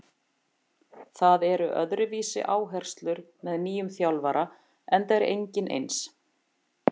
Það eru öðruvísi áherslur með nýjum þjálfara enda er enginn eins.